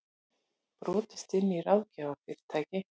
Brotist inn í ráðgjafarfyrirtæki